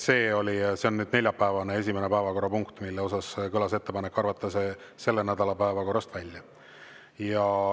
See on neljapäevane esimene päevakorrapunkt, mille suhtes kõlas ettepanek arvata see selle nädala päevakorrast välja.